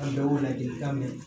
A bɛ ladilikan mɛn